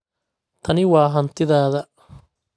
Tani waa hantidaada.